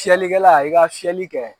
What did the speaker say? Filiyɛkɛla i ka fiyɛli kɛ